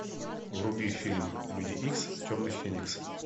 вруби фильм люди икс темный феникс